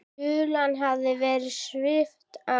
Hulunni hafði verið svipt frá.